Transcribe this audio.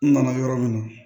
N nana yɔrɔ min na